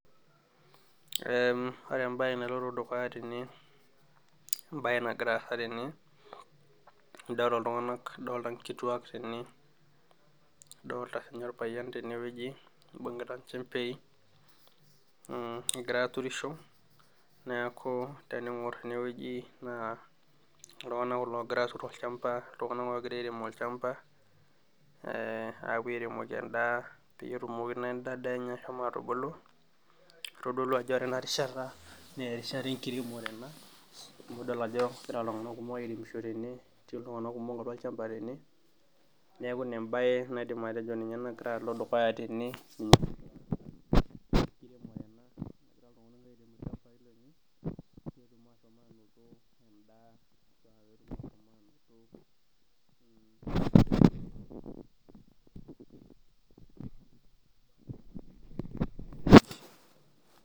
Eeem ore embaye naagira alo dukuya tenee adolita inkituak kene adolita ilewa tene iebung'ita inchembei egira airemisho neeku tening'or enewueji iltung'anak kulo oogira atur olchamba oogira airem olchamba ee apuo airemoki endaa netumoki naaa enda daa enye ashomo atubulu keitodolu ajo ore ena rishata naa erishata enkiremore amu adol ajo egira iltung'anak kumok airemisho tene neeku ina embaye naidim atejo egira alo dukuya tene pause